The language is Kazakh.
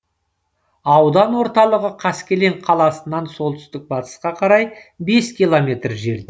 аудан орталығы қаскелең қаласынан солтүстік батысқа қарай бес километр жерде